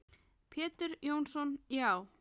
Pétur Jónsson Já.